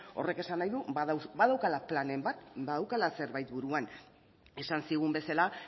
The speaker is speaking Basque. horrek esan nahi du badaukala planen bat badaukala zerbait buruan esan zigun bezala